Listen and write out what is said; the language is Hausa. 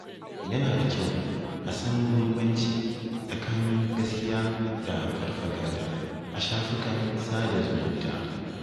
Yana da kyau a san bambanci tsakanin gaskiya da farfaganda a shafukan sada zumunta.